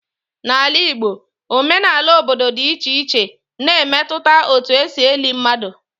Na Ala Igbo, omenala obodo dị iche iche na-emetụta etu e si eli mmadụ.